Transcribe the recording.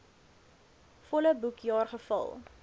volle boekjaar gevul